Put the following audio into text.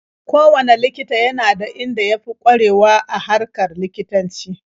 Kowanne likita yana da inda ya fi ƙwarewa a harkar likitanci.